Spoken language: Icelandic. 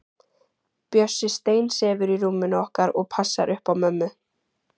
Bjössi steinsefur í rúminu okkar og passar upp á mömmu.